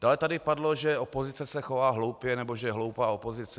Dále tady padlo, že opozice se chová hloupě nebo že je hloupá opozice.